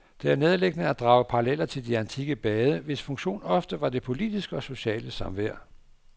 Det er nærliggende at drage paralleller til de antikke bade, hvis funktion ofte var det politiske og sociale samvær.